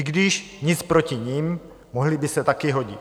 I když nic proti nim, mohly by se taky hodit.